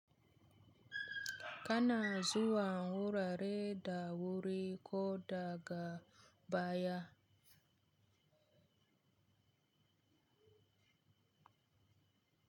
Kana zuwa wurare da wuri ko daga baya.